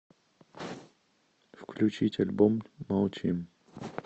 включить альбом молчим